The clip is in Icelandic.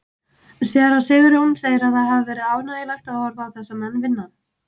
Séra Sigurjón segir að það hafi verið ánægjulegt að horfa á þessa menn vinna.